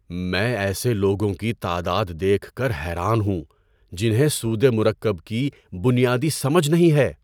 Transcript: میں ایسے لوگوں کی تعداد دیکھ کر حیران ہوں جنہیں سودِ مرکب کی بنیادی سمجھ نہیں ہے۔